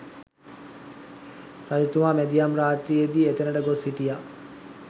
රජතුමා මැදියම් රාත්‍රියේ දී එතැනට ගොස් සිටියා.